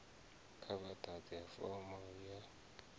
kha vha ḓadze fomo ya